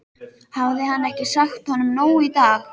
Hafði hann ekki sagt honum nóg í dag?